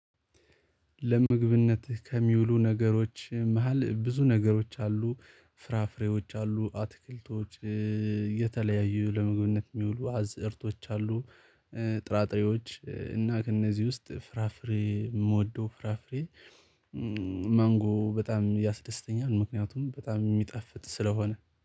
ለምግብነት ከሚውሉ ነገሮች መሃል ብዙ ነገሮች አሉ ፍራፍሬዎች አሉ አትክልቶች የተለያዩ ለመግብነት የሚውሉ አዝእርቶች አሉ። ጥራጥሬዎች እና ከእነዚህ ውስጥ ፍራፍሬ የምወደው ፍራፍሬ ማንጎ በጣም ያስደስተኛል። ምክንያቱም በጣም የሚጣፍጥ ስለሆነ